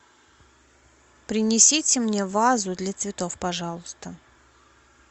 принесите мне вазу для цветов пожалуйста